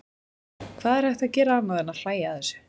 Hvað er hægt að gera annað en að hlægja að þessu?